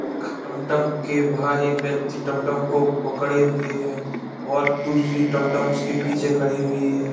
एक टमटम के बाहर एक व्यक्ति टमटम को पकड़े हुए है और दूसरी टमटम उसके पीछे खड़ी हुई है।